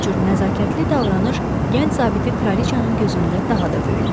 Bu cür nəzakətli davranış gənc zabiti kraliçanın gözündə daha da böyütdü.